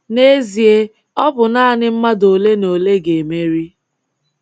N’ezie, ọ bụ naanị mmadụ olenaole ga-emeri.